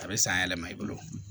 A bɛ san yɛlɛma i bolo